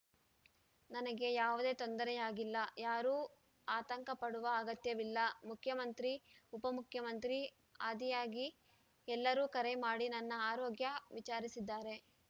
ನನಗೆ ಯಾವುದೇ ತೊಂದರೆಯಾಗಿಲ್ಲ ಯಾರೂ ಆತಂಕಪಡುವ ಅಗತ್ಯವಿಲ್ಲ ಮುಖ್ಯಮಂತ್ರಿ ಉಪಮುಖ್ಯಮಂತ್ರಿ ಆದಿಯಾಗಿ ಎಲ್ಲರೂ ಕರೆ ಮಾಡಿ ನನ್ನ ಆರೋಗ್ಯ ವಿಚಾರಿಸಿದ್ದಾರೆ